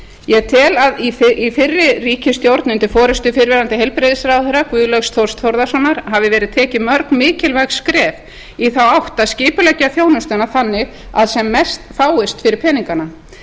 ég tel að í fyrri ríkisstjórn undir forustu fyrrverandi heilbrigðisráðherra guðlaugs þórs þórðarsonar hafi verið tekin mörg mikilvæg skref í þá átt að skipuleggja þjónustuna þannig að sem mest fáist fyrir peningana